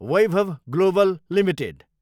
Vaibhav Global Ltd